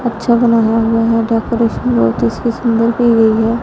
अच्छा बना हुआ है डेकोरेशन बहुत उसकी सुंदर की गई है।